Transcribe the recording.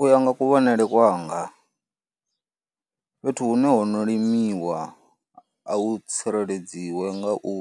U ya nga kuvhonele kwanga fhethu hune ho no limiwa a hu tsireledziwe nga u